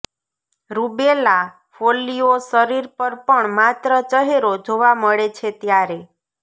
rubella ફોલ્લીઓ શરીર પર પણ માત્ર ચહેરો જોવા મળે છે ત્યારે